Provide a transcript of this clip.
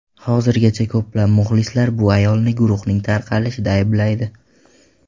Hozirgacha ko‘plab muxlislar bu ayolni guruhning tarqalishida ayblaydi.